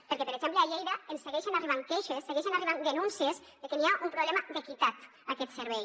perquè per exemple a lleida ens segueixen arribant queixes segueixen arribant denúncies de que hi ha un problema d’equitat a aquest servei